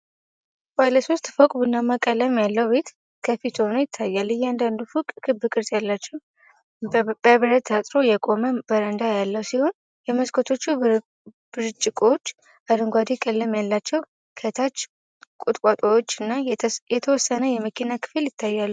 ባለ ሶስት ፎቅ ቡናማ ቀለም ያለው ቤት ከፊት ሆኖ ይታያል። እያንዳንዱ ፎቅ ክብ ቅርጽ ያላቸው በብረት ታጥሮ የቆመ በረንዳ ያለው ሲሆን፤ የመስኮቶቹ ብርጭቆዎች አረንጓዴ ቀለም አላቸው። ከታች ቁጥቋጦዎች እና የተወሰነ የመኪና ክፍል ይታያሉ።